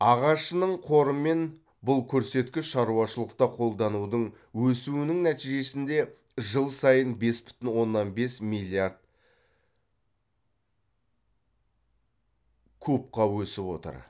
ағашының қорымен бұл көрсеткіш шаруашылықта қолданудың өсуінің нәтижесінде жыл сайын бес бүтін оннан бес миллиард кубқа өсіп отыр